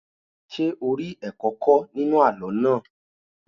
Ṣé o rí ẹ̀kọ́ kọ́ nínú àlọ́ náà?